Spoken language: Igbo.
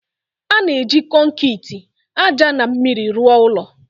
A na-eji kọnkịtị, ájá na mmiri rụọ ụlọ